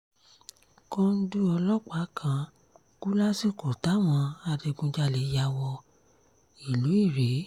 kòńdú ọlọ́pàá kan kú lásìkò táwọn adigunjalè ya wọ ìlú irèé